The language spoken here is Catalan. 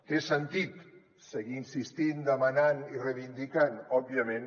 té sentit seguir insistint demanant i reivindicant òbviament